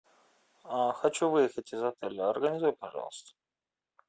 хочу выехать из отеля организуй пожалуйста